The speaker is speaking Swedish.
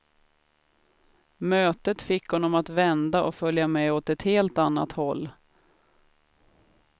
Mötet fick honom att vända och följa med åt ett helt annat håll.